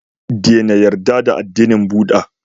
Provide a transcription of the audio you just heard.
Dena yarda da addinin buda